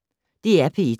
DR P1